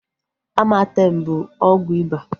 Amartem bụ ọgwụ iba